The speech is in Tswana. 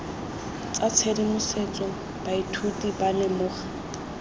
tsa tshedimosetso baithuti ba lemoga